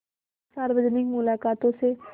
इन सार्वजनिक मुलाक़ातों से